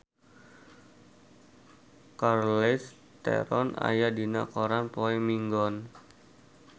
Charlize Theron aya dina koran poe Minggon